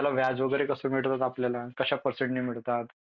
व्याज वगैरे कसा मिळतात आपल्यला कश्या परसेन्ट नि मिळतात.